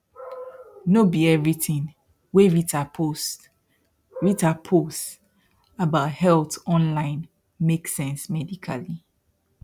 no be everything wey rita post rita post about health online make sense medically